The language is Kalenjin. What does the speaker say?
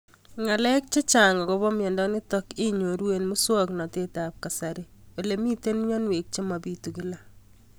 Ng'alek chechang' akopo miondo nitok inyoru eng' muswog'natet ab kasari ole mito mianwek che mapitu kila